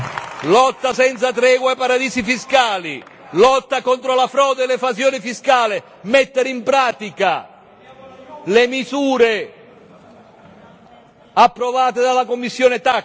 Lotta senza tregua ai paradisi fiscali, lotta contro la frode e l'evasione fiscale, mettere in pratica le misure approvate dalla commissione TAXE.